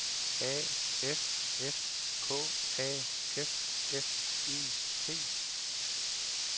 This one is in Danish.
A F S K A F F E T